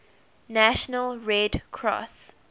national red cross